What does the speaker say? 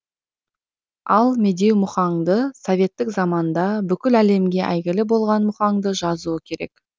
ал медеу мұхаңды советтік заманда бүкіл әлемге әйгілі болған мұхаңды жазуы керек